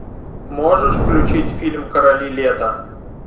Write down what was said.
можешь включить фильм короли лета